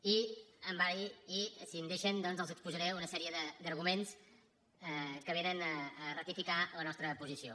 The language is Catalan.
i si em deixen doncs els exposaré una sèrie d’arguments que vénen a ratificar la nostra posició